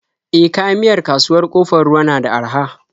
E, kayan miyar kasuwar Ƙofar Ruwa na da araha.